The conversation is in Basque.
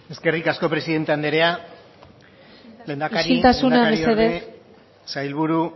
eskerrik asko presidente anderea isiltasuna mesedez lehendakari lehendakariorde sailburu